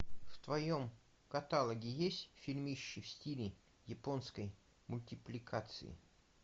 в твоем каталоге есть фильмище в стиле японской мультипликации